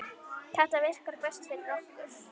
Þetta virkar best fyrir okkur.